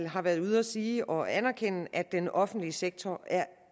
har været ude at sige og anerkende at den offentlige sektor er